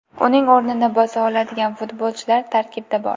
Uning o‘rnini bosa oladigan futbolchilar tarkibda bor.